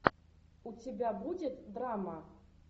у тебя будет драма